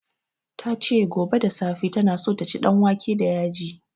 Ta ce gobe da safe ta na so ta ci danwake da yaji